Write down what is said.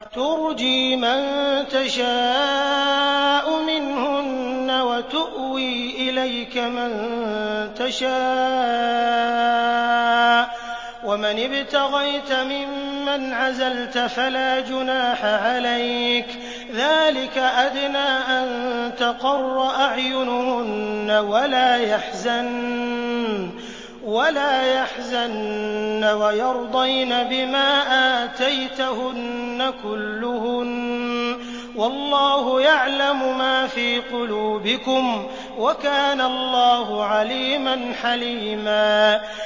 ۞ تُرْجِي مَن تَشَاءُ مِنْهُنَّ وَتُؤْوِي إِلَيْكَ مَن تَشَاءُ ۖ وَمَنِ ابْتَغَيْتَ مِمَّنْ عَزَلْتَ فَلَا جُنَاحَ عَلَيْكَ ۚ ذَٰلِكَ أَدْنَىٰ أَن تَقَرَّ أَعْيُنُهُنَّ وَلَا يَحْزَنَّ وَيَرْضَيْنَ بِمَا آتَيْتَهُنَّ كُلُّهُنَّ ۚ وَاللَّهُ يَعْلَمُ مَا فِي قُلُوبِكُمْ ۚ وَكَانَ اللَّهُ عَلِيمًا حَلِيمًا